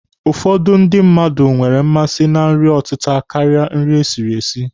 Ụfọdụ ndị mmadụ nwere mmasị na nri ọtịta karịa nri esiri esi.